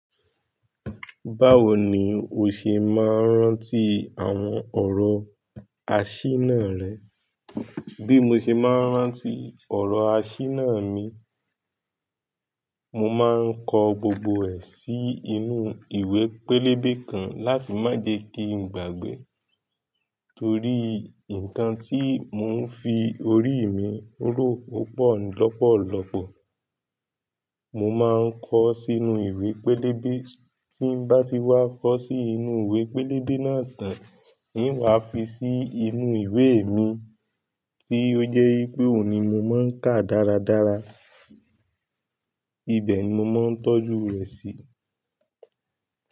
Báwo ni o ṣe máa ń rántí àwọn ọ̀rọ̀ àsínà rẹ? Bí mo ṣe máa rántí ọ̀rọ̀ àsínà mi, mo máa ń kọ gbogbo ẹ̀ sí inú ìwé pélébé kan láti má jẹ́ kí ń gbàgbé. Torí nkàn tí mò ń fi orí mi rò ó pọ̀ lọ́pọ̀lọpọ̀. Mo máa ń kọ ọ́ sí inú ìwé pélébé, tí ń bá ti wá kọ́ sí inú ìwé pélébé náà tán, i ń wà á fi sí inú ìwé mi, tí ó jẹ́ í pé òun ní mo máa ń kà dáradára. Ìbẹ̀ ni mo máa ń tọ́jú rẹ̀ sí.